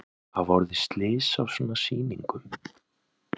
Hafa orðið slys á svona sýningum?